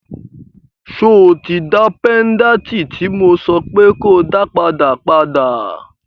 So tí dá péńdàtì tí mo sọ pé ko dá padà, padà?